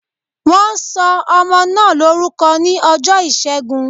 Wọn sọ ọmọ náà lórúkọ ní ọjọ́ ìṣẹ́gun